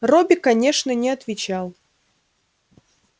робби конечно не отвечал